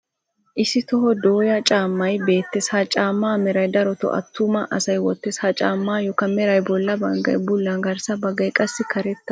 Issi toho dooya caammay beettes. Ha caamma mera darotoo attuma asay wottees. Ha caammayookka meray bolla baggay bulla garssa baggay qassi karetta.